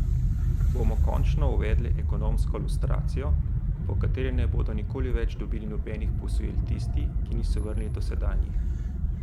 Bomo končno uvedli ekonomsko lustracijo, po kateri ne bodo nikoli več dobili nobenih posojil tisti, ki niso vrnili dosedanjih?